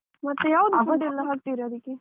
ಮತ್ತೆ ಯಾವ್ದು food ಎಲ್ಲ ಹಾಕ್ತಿರ ಅದಕ್ಕೆ?